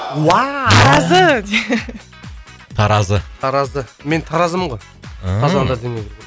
уау таразы таразы мен таразымын ғой ыыы қазанда дүниеге